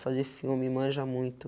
Fazer filme manja muito.